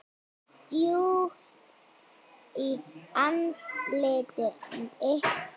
Djúpt í andlit mitt.